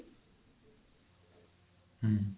ହୁଁ